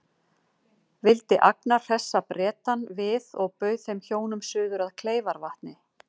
Vildi Agnar hressa Bretann við og bauð þeim hjónum suður að Kleifarvatni.